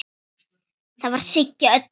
Það var Siggi Öddu.